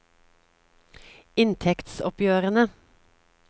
inntektsoppgjørene